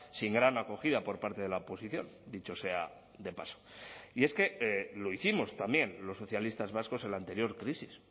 sin gran acogida por parte de la oposición dicho sea de paso y es que lo hicimos también los socialistas vascos en la anterior crisis